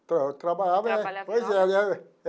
Então, eu trabalhava... Pois é, né?